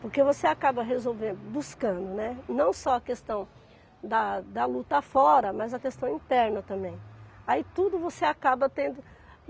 Porque você acaba resolvendo, buscando, né, não só a questão da da luta fora, mas a questão interna também. Aí tudo você acaba tendo